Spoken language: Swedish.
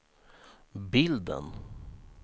bilden